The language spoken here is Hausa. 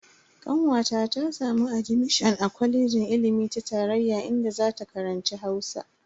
Kanwata ta samu admishon a kwalejin ilimi ta tarayya inda zata karanci Hausa.